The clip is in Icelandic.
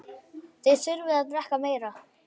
Þið þurfið að drekka meira.